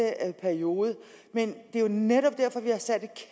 periode og det er jo netop derfor vi har sat et